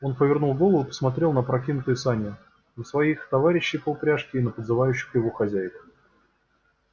он повернул голову и посмотрел на опрокинутые сани на своих товарищей по упряжке и на подзывающих его хозяев